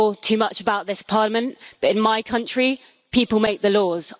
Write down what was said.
I'm not sure too much about this Parliament, but in my country people make the laws.